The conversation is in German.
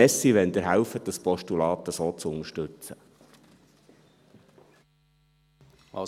Danke, wenn Sie dieses Postulat so unterstützen helfen.